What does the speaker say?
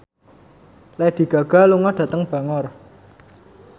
Lady Gaga lunga dhateng Bangor